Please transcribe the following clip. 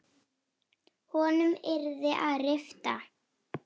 Honum yrði að rifta.